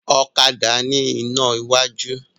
Ọ̀kadà ni ina iwájú